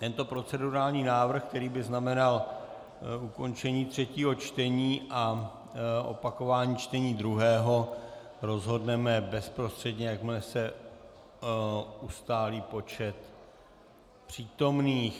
Tento procedurální návrh, který by znamenal ukončení třetího čtení a opakování čtení druhého, rozhodneme bezprostředně, jakmile se ustálí počet přítomných....